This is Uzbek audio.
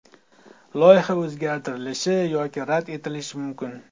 Loyiha o‘zgartirilishi yoki rad etilishi mumkin.